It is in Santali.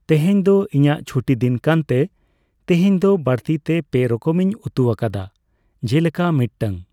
ᱛᱮᱦᱮᱸᱧ ᱫᱚ ᱤᱧᱟᱜ ᱪᱷᱩᱴᱤ ᱫᱤᱱ ᱠᱟᱱ ᱛᱮ ᱛᱤᱦᱤᱧ ᱫᱚ ᱵᱟᱲᱛᱤ ᱛᱮ ᱯᱮ ᱨᱚᱠᱚᱢᱤᱧ ᱩᱛᱩᱣᱟᱠᱟᱫᱟ ᱾ ᱡᱮᱞᱮᱠᱟ ᱢᱤᱜᱴᱟᱝ